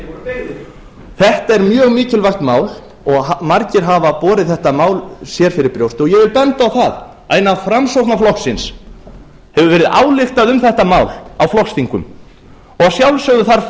sjöunda þetta er mjög mikilvægt mál og margir hafa borið þetta mál fyrir brjósti og ég vil benda á það að innan framsóknarflokksins hefur verið ályktað um þetta mál á flokksþingum og að sjálfsögðu þarf